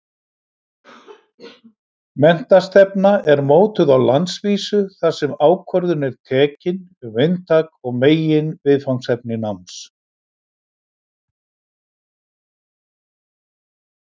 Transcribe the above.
Menntastefna er mótuð á landsvísu þar sem ákvörðun er tekin um inntak og meginviðfangsefni náms.